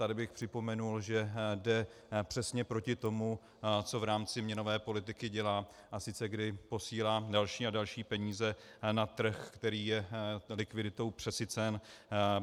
Tady bych připomněl, že jde přesně proti tomu, co v rámci měnové politiky dělá, a sice kdy posílá další a další peníze na trh, který je likviditou přesycen.